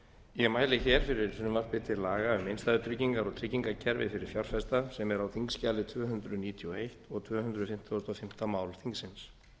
ég mæli hér fyrir frumvarpi til laga um innstæðutryggingar og tryggingakerfi fyrir fjárfesta sem er á þingskjali tvö hundruð níutíu og eins og tvö hundruð fimmtugasta og fimmta mál þingsins